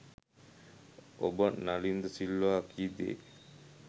ඔබ නලින්ද සිල්වා කී දේ